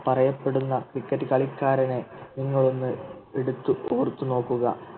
പറയപ്പെടുന്ന Cricket കളിക്കാരനെ നിങ്ങൾ ഒന്ന് എടുത്ത് ഓർത്തു നോക്കുക